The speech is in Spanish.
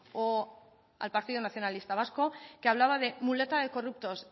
o al partido nacionalista vasco que hablaba de muleta de corruptos